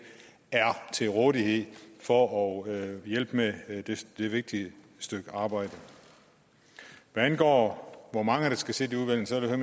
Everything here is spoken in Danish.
er til rådighed for at hjælpe med det vigtige stykke arbejde hvad angår det hvor mange der skal sidde udvalget vil jeg